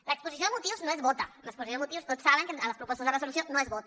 l’exposició de motius no es vota l’exposició de motius tots saben que a les propostes de resolució no es vota